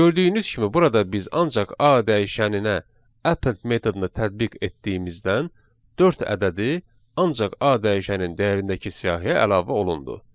Gördüyünüz kimi burada biz ancaq A dəyişəninə append metodu tətbiq etdiyimizdən dörd ədədi ancaq A dəyişənin dəyərindəki siyahıya əlavə olundu.